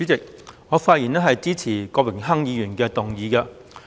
主席，我發言支持郭榮鏗議員的議案。